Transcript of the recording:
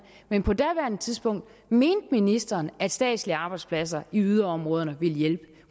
men på daværende tidspunkt mente ministeren at statslige arbejdspladser i yderområderne ville hjælpe